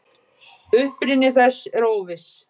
Uppruni þess er óviss.